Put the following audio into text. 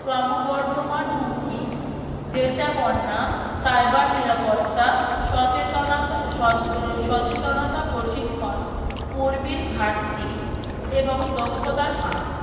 ক্রমবর্ধমান হুমকি data বর্ণা cyber নিরাপত্তা সচেতনতা সচ সচেতনতা প্রশিক্ষণ কর্মীর ঘাটতি এবং দক্ষতার ফাঁক